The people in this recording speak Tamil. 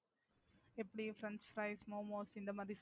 எப்படி French fries, Momos இந்த மாதிரி சொல்றீங்களா?